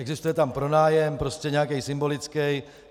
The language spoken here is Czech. Existuje tam pronájem, prostě nějaký symbolický.